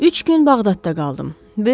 Üç gün Bağdadda qaldım.